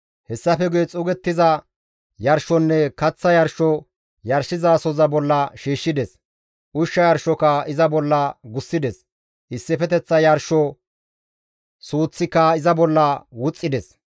Hessafe guye xuugettiza yarshonne kaththa yarsho yarshizasohoza bolla shiishshides; ushsha yarshoka iza bolla gussides; issifeteththa yarsho suuththika iza bolla wuxxides.